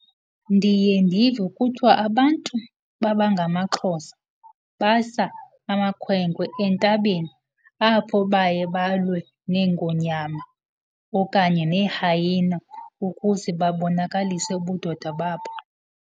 Ndiye ndive kuthiwa abantu babangamaXhosa basa amakhwenkwe entabeni apho baye balwe neengonyama okanye nee-hyena ukuze babonakalise ubudoda babo.